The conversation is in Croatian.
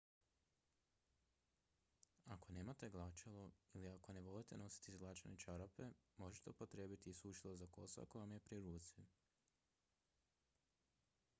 ako nemate glačalo ili ako ne volite nositi izglačane čarape možete upotrijebiti i sušilo za kosu ako vam je pri ruci